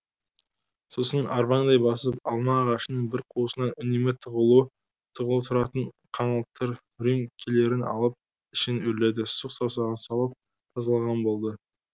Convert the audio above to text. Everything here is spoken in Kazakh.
сосын арбаңдай басып алма ағашының бір қуысынан үнемі тығулы тұратын қаңылтыр рюмкелерін алып ішін үрледі сұқ саусағын салып тазалаған болды